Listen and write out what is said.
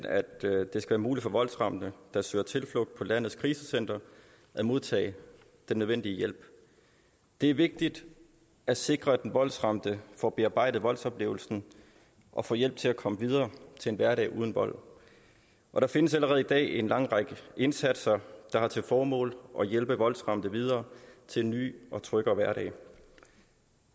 at det skal være muligt for voldsramte der søger tilflugt på landets krisecentre at modtage den nødvendige hjælp det er vigtigt at sikre at den voldsramte får bearbejdet voldsoplevelsen og får hjælp til at komme videre til en hverdag uden vold der findes allerede i dag en lang række indsatser der har til formål at hjælpe voldsramte videre til en ny og tryggere hverdag